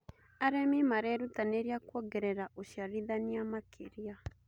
Arĩmi marerutanĩria kuongerera ũciarithania makĩria.